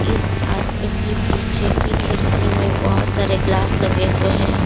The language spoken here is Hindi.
इस आदमी के पीछे की खिड़की में बहुत सारे ग्लास लगे हुए हैं।